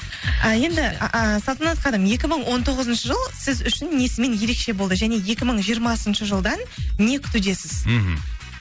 а енді салтанат ханым екі мың он тоғызыншы жыл сіз үшін несімен ерекше болды және екі мың жиырмасыншы жылдан не күтудесіз мхм